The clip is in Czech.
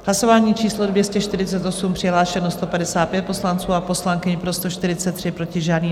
Hlasování číslo 248, přihlášeno 155 poslanců a poslankyň, pro 143, proti žádný.